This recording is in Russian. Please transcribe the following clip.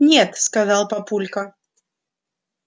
нет сказал папулька